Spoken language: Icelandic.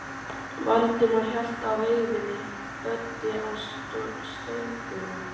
Valdimar hélt á veiðinni, Böddi á stöngunum.